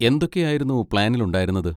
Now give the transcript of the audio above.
എന്തൊക്കെയായിരുന്നു പ്ലാനിൽ ഉണ്ടായിരുന്നത്?